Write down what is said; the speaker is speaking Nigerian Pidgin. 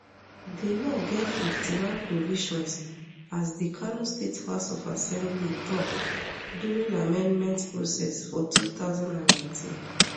di law get fifty-one provisions as di kano state house of assembly tok during di amendment process for two thousand and nineteen